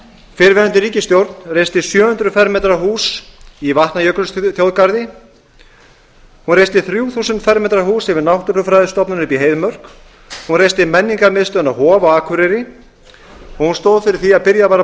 fyrrverandi ríkisstjórn reisti sjö hundruð fermetra hús í vatnajökulsþjóðgarði hún reisti þrjú þúsund fermetra hús yfir náttúrufræðistofnun uppi í heiðmörk hún reisti menningarmiðstöðina hof á akureyri og hún stóð fyrir því að byrjað var að